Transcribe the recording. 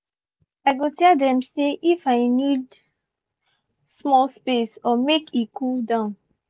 i go tell dem say if i need small space or make e cool down.